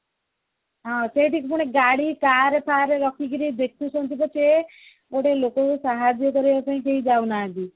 ହଁ ସେଇଠି ପୁଣି ଗାଡି carର ଫାର ବସିକିଣି ଦେଖୁଛନ୍ତି ପଛେ ଗୋଟେ ଲୋକକୁ ସାହାଯ୍ୟ କରିବାକୁ କରିବା ପାଇଁ କେହି ଯାଉ ନାହାନ୍ତି